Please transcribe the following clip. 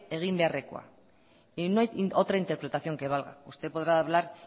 egin beharrekoa y no hay otra interpretación que valga usted podrá hablar